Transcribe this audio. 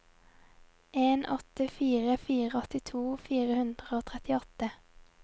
en åtte fire fire åttito fire hundre og trettiåtte